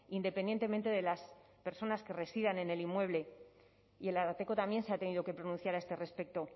independientemente de las personas que residan en el inmueble y el ararteko también se ha tenido que pronunciar a este respecto